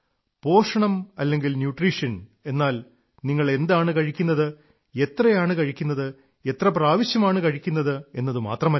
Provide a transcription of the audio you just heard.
പോഷണം അല്ലെങ്കിൽ ന്യൂട്രീഷൻ എന്നാൽ നിങ്ങൾ എന്താണ് കഴിക്കുന്നത് എത്രയാണ് കഴിക്കുന്നത് എത്രപ്രാവശ്യമാണ് കഴിക്കുന്നത് എന്നതുമാത്രമല്ല